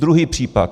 Druhý příklad.